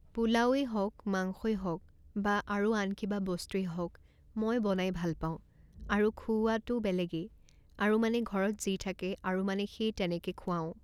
পোলাওৱে হওক, মাংসই হওক বা আৰু আন কিবা বস্তুৱে হওক মই বনাই ভাল পাওঁ আৰু খুওৱাটো বেলেগেই আৰু মানে ঘৰত যি থাকে আৰু মানে সেই তেনেকে খুৱাওঁ